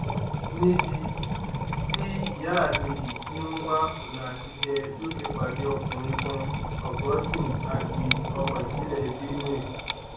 níbi tí ìyáábéjì ti ń wá ọnà àtijẹ ló ti pàdé ọkùnrin kan augustine agbe ọmọ ìpínlẹ benue